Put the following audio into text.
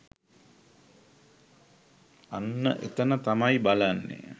අන්න එතැන තමයි බලන්නේ.